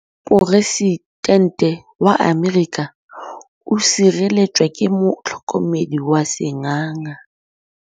Poresitêntê wa Amerika o sireletswa ke motlhokomedi wa sengaga.